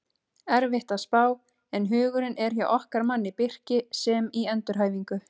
Erfitt að spá en hugurinn er hjá okkar manni Birki sem í endurhæfingu.